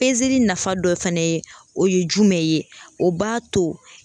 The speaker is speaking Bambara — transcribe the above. nafa dɔ fɛnɛ ye, o ye jumɛn ye ,o b'a to